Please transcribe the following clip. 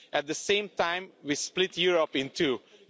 At the same time, we split Europe into two.